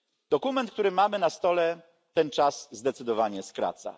Dokument, który mamy przed sobą, ten czas zdecydowanie skraca.